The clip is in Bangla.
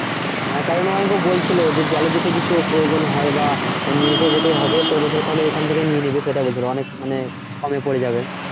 হ্যা কারণ ও আমাকেও বলছিলো যে জলের যদি কিছু প্রয়োজন হয় বা নিয়ে তো যেতে হবে তো বলছিলো তাহলে এখান থেকে নিয়ে নিবি সেটাই বলছিলো অনেক মানে কমে পরে যাবে।